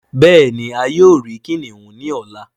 Béèni a yóò ríi kìnìún ní ọlá.